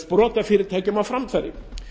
sprotafyrirtækjum á framfæri